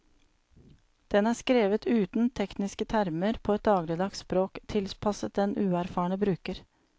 Den er skrevet uten tekniske termer på et dagligdags språk, tilpasset den uerfarne bruker.